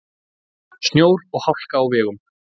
Snjór og hálka á vegum